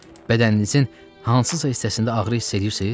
Bədəninizin hansısa hissəsində ağrı hiss eləyirsiz?